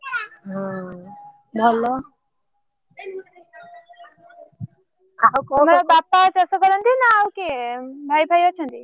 nonhumanvocal ହଁ ଭଲ ଆଉ କଣ? ତୋର ବାପା ଚାଷ କରନ୍ତି ନା ଆଉ କିଏ? ଉଁ ଭାଇ ଫାଇ ଅଛନ୍ତି।